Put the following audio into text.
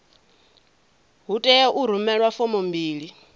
hu tea u rumelwa fomo mbili